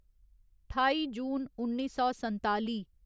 ठाई जून उन्नी सौ संताली